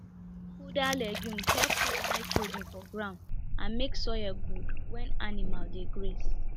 fooder legume help put nitrogen for ground and make soil good when animal dey graze